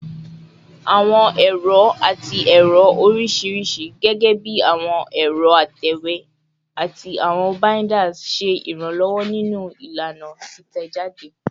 Awọn ẹrọ ati ẹrọ oriṣiriṣi, gẹgẹbi awọn ẹrọ atẹwe ati awọn binders, ṣe iranlọwọ ninu ilana titẹjade